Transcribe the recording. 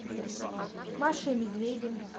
маша и медведи